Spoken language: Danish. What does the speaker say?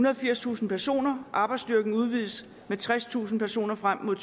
og firstusind personer arbejdsstyrken udvides med tredstusind personer frem mod